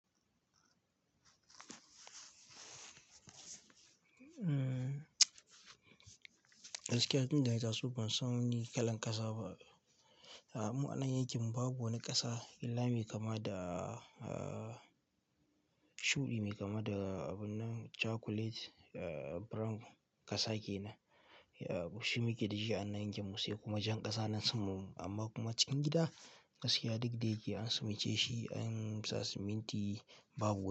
Gaskiya tunda na ta so ban san wani kalan ƙasa ba mu a anan yakin mu babu wani ƙasa illa me kama da shuɗi me kama da abun nan chocolate brown ƙasa kenan shi muke da shi an nan yankin mu sai kuma jan ƙasa nan saman mu amma kuma cikin gida gaskiya duk daya ke an simi ce shi an sa siminti.